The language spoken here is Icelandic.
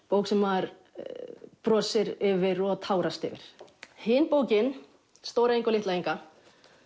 bók sem maður brosir yfir og tárast yfir hin bókin Stóra Inga og litla Inga